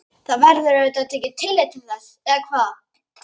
Það verður auðvitað tekið tillit til þess eða hvað?